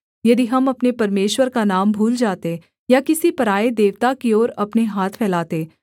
यदि हम अपने परमेश्वर का नाम भूल जाते या किसी पराए देवता की ओर अपने हाथ फैलाते